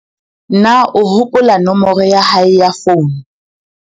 na o hopola nomoro ya hae ya founu?